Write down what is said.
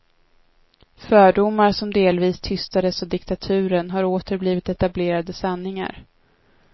Fördomar som delvis tystades av diktaturen har åter blivit etablerade sanningar.